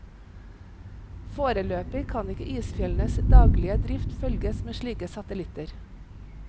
Foreløpig kan ikke isfjellenes daglige drift følges med slike satellitter.